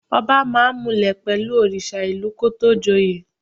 Ọba máa ń múlẹ̀ pẹ̀lú òrìṣà ìlú kó tó joyè.